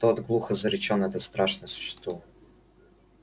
тот глухо зарычал на это страшное существо